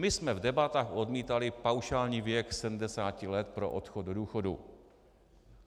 My jsme v debatách odmítali paušální věk 70 let pro odchod do důchodu.